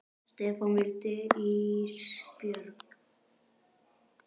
Stefán: Viltu ís Björn?